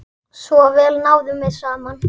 Svo vel náðum við saman.